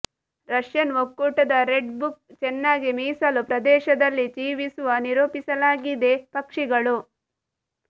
Russian ಒಕ್ಕೂಟದ red book ಚೆನ್ನಾಗಿ ಮೀಸಲು ಪ್ರದೇಶದಲ್ಲಿ ಜೀವಿಸುವ ನಿರೂಪಿಸಲಾಗಿದೆ ಪಕ್ಷಿಗಳು